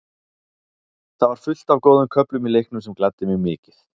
Það var fullt af góðum köflum í leiknum sem gladdi mig mikið.